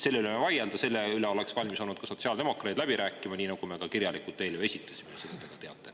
Selle üle võime vaielda, selle üle oleks ka sotsiaaldemokraadid olnud valmis läbi rääkima, nii nagu me ka kirjalikult eelnõu esitasime, nagu te ka teate.